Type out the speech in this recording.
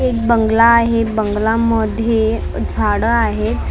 एक बंगला आहे बंगला मध्ये झाडं आहेत.